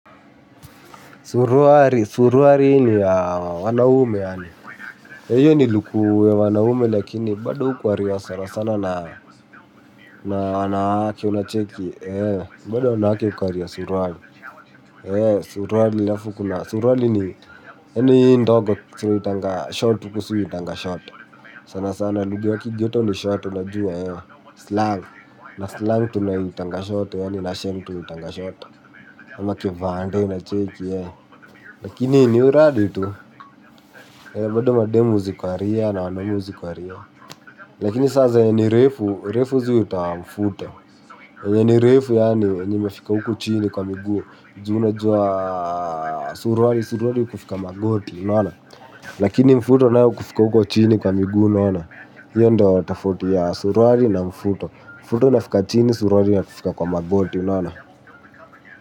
Suruari, suruari ini ya wanahume yaani. Eyo ni luku ya wanahume lakini bada hukwari wa sana sana na wanaake unacheiki. Bada wanaake unacheiki, bada wanaake unacheiki suruari. Suruari lafu kuna suruari ni eni indooa suru itanga shortu kusui itanga shortu. Sana sana luku waki geto ni shortu na juwa yao slang. Na slangu itanga shortu yaani na shengu itanga shortu. Ama kivande itacheiki ye. Lakini ni uradi tu bado mademu zi kwaria na wanamu zi kwa ria. Lakini saza yenye nirefu, nirefu zi uta mfuto. Yenye nirefu yaani, yenye mefika uko chini kwa miguu. Ju una jua suruari, suruari kufika magoti, unana. Lakini mfuto nao ukufika uko chini. Hiyo nda watafuti ya suruari na mfuto. Mfuto nafika chini, suruari na kufika kwa magoti, unana.